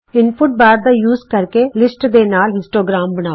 input bar ਦਾ ਇਸਤੇਮਾਲ ਕਰਕੇ ਲਿਸਟਜ਼ ਦੇ ਨਾਲ ਹਿਸਟੋਗ੍ਰਾਮ ਬਣਾਉ